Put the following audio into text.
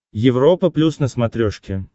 европа плюс на смотрешке